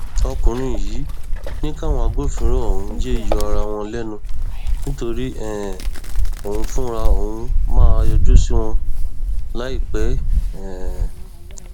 ọkùnrin yìí ní káwọn agbófinró ọhún yéé yọ ara wọn lẹnu nítorí um òun fúnra òun máa yọjú sí wọn láìpẹ um